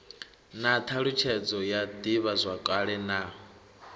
na thalutshedzo ya divhazwakale na